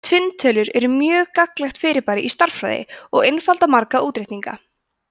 tvinntölur eru mjög gagnlegt fyrirbæri í stærðfræði og einfalda marga útreikninga